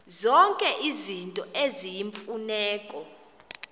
zonke izinto eziyimfuneko